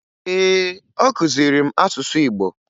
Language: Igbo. Ee, ọ kụziri m asụsụ Igbo